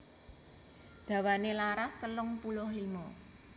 Dawané laras telung puluh limo